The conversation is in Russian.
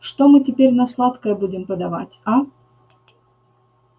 что мы теперь на сладкое будем подавать а